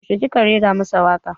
Yaushe ki ka raira masa waka?